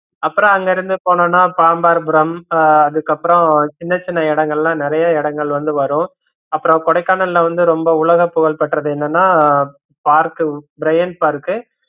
அப்பறம் அங்க இருந்து போனோன பாம்பார்புரம் அஹ் அதுக்கப்பறம் சின்ன சின்ன இடங்கலாம் நிறைய இடங்கள் வந்து வரும் அப்பறம் கொடைக்கானல்ல வந்து ரொம்ப உலக புகழ் பெற்றது என்னன்னா park பிரையன்ட் park உ